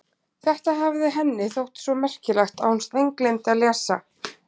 Þetta hafði henni þótt svo merkilegt að hún steingleymdi að lesa.